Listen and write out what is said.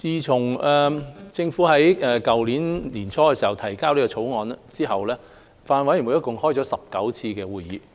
自政府於去年年初提交《條例草案》後，法案委員會共舉行了19次會議。